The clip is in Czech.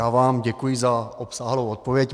Já vám děkuji za obsáhlou odpověď.